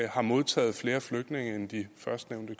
har modtaget flere flygtninge end de førstnævnte